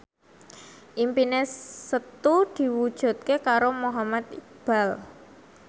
impine Setu diwujudke karo Muhammad Iqbal